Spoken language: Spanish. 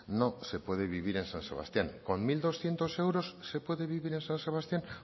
no se puede vivir en san sebastián con mil doscientos euros se puede vivir en san sebastián